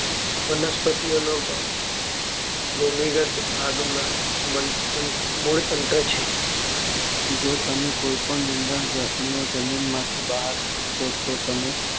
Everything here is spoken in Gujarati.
વનસ્પતિ ઓનો ભાગ ભૂમિ ગત ભાગ માં મૂળતંત્ર છે જો તમે કોઈ પણ નિંદણ ને જમીન માંથી બહાર ખેંચશો તો તમે